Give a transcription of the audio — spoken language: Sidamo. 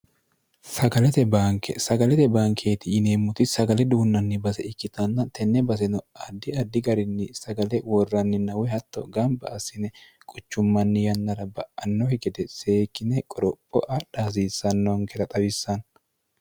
sagalete banke sagalete bankeeti yineemmoti sagale duunnanni base ikkitanna tenne baseno addi addi garinni sagale worranni nawyi hatto gamba assine quchummanni yannara ba'annohi gede seekine qoropho adha hasiissannonkela xawissanno